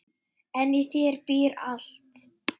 En í þér býr allt.